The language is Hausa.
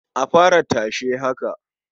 A fara tashe haka.